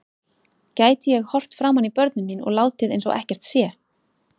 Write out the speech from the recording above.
Gæti ég horft framan í börnin mín og látið eins og ekkert sé?